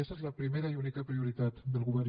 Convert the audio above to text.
aquesta és la primera i única prioritat del govern